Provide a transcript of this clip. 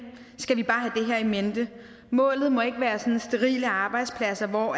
skal vi bare have det her i mente målet må ikke være sådan sterile arbejdspladser hvor